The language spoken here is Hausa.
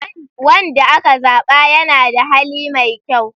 Wanda aka zaba yana da hali mai kyau.